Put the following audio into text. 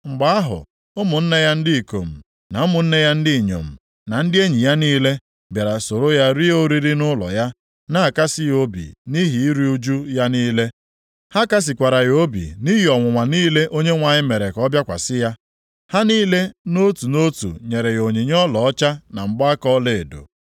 Mgbe ahụ, ụmụnne ya ndị ikom na ụmụnne ya ndị inyom, na ndị enyi ya niile bịara soro ya rie oriri nʼụlọ ya, na-akasị ya obi nʼihi iru ụjụ ya niile. Ha kasịkwara ya obi nʼihi ọnwụnwa niile Onyenwe anyị mere ka ọ bịakwasị ya. Ha niile nʼotu nʼotu nyere ya onyinye ọlaọcha na mgbaaka ọlaedo.